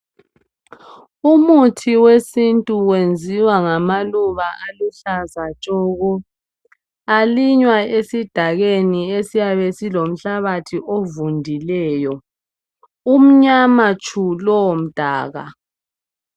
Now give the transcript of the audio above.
Umuthi wesintu wenziwa ngamaluba aluhlaza tshoko. Alinywa esidakeni esiyabe silomhlabathi ovundileyo. Umnyama tshu lowomdaka.